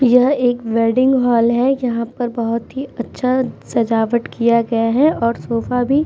यह एक wedding hall है जहाँ पर बोहोत ही अच्छा सज़ावट किया गया है और सोफा भी --